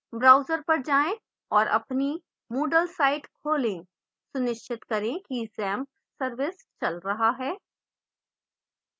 browser पर जाएं और अपनी moodle site खोलें सुनिश्चित करें कि xampp service चल रहा है